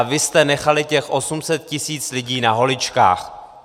A vy jste nechali těch 800 tisíc lidí na holičkách.